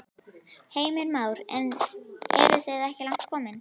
Heimir Már: En eru þið ekki langt komin?